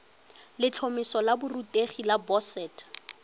letlhomeso la borutegi la boset